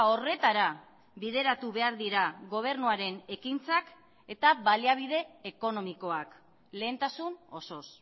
horretara bideratu behar dira gobernuaren ekintzak eta baliabide ekonomikoak lehentasun osoz